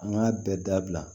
An k'a bɛɛ dabila